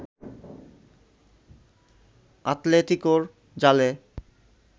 আতলেতিকোর জালে